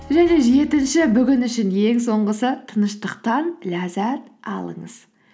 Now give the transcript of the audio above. және де жетінші бүгін үшін ең соңғысы тыныштықтан ләззат алыңыз